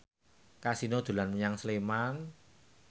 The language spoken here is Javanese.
Kasino dolan menyang Sleman